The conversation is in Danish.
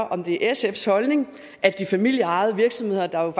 om det er sfs holdning at de familieejede virksomheder der